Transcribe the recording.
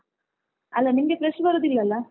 ಅಲ್ಲ ನಿಂಗೆ fresh ಬರುದಿಲ್ಲ ಅಲ್ಲ?